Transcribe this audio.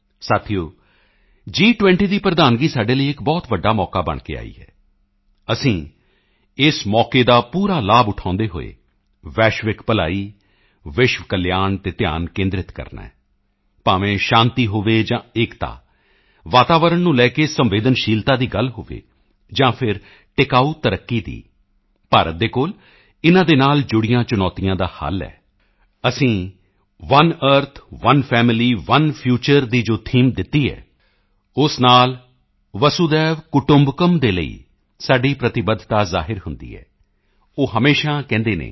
ਸਾਥੀਓ ਜੀ20 ਦੀ ਪ੍ਰਧਾਨਗੀ ਸਾਡੇ ਲਈ ਇੱਕ ਬਹੁਤ ਵੱਡਾ ਮੌਕਾ ਬਣ ਕੇ ਆਈ ਹੈ ਅਸੀਂ ਇਸ ਮੌਕੇ ਦਾ ਪੂਰਾ ਲਾਭ ਉਠਾਉਂਦੇ ਹੋਏ ਵੈਸ਼ਵਿਕ ਭਲਾਈ ਵਿਸ਼ਵ ਕਲਿਆਣ ਤੇ ਧਿਆਨ ਕੇਂਦ੍ਰਿਤ ਕਰਨਾ ਹੈ ਭਾਵੇਂ ਸ਼ਾਂਤੀ ਹੋਵੇ ਜਾਂ ਏਕਤਾ ਵਾਤਾਵਰਣ ਨੂੰ ਲੈ ਕੇ ਸੰਵੇਦਨਸ਼ੀਲਤਾ ਦੀ ਗੱਲ ਹੋਵੇ ਜਾਂ ਫਿਰ ਟਿਕਾਊ ਤਰੱਕੀ ਦੀ ਭਾਰਤ ਦੇ ਕੋਲ ਇਨ੍ਹਾਂ ਨਾਲ ਜੁੜੀਆਂ ਚੁਣੌਤੀਆਂ ਦਾ ਹੱਲ ਹੈ ਅਸੀਂ one earth one family one future ਦੀ ਜੋ ਥੀਮ ਦਿੱਤੀ ਹੈ ਉਸ ਨਾਲ ਵਸੁਧੈਵ ਕੁਟੁੰਬਕਮ ਦੇ ਲਈ ਸਾਡੀ ਪ੍ਰਤੀਬੱਧਤਾ ਜ਼ਾਹਿਰ ਹੁੰਦੀ ਹੈ ਉਹ ਹਮੇਸ਼ਾ ਕਹਿੰਦੇ ਹਨ